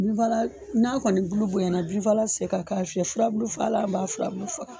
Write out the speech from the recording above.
Bin faalan n'a kɔni bulu bonyana binfaa la ti se ka ka fiyɛ furabulu faala b'a furabulu faa